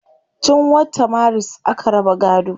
Tun wata maris aka raba gaado